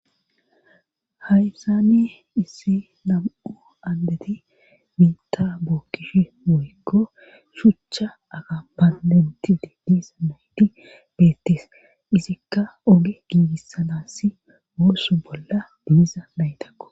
haysani issi lam7u andeti biita bookkishi woykko shuchcha akafan denti didisa nayti beettis izikka oge giigissanassi oosso bolla de,za naytakko